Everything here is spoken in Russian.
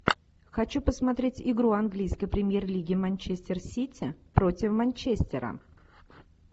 хочу посмотреть игру английской премьер лиги манчестер сити против манчестера